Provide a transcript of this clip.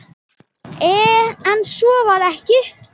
Enn svo var ekki.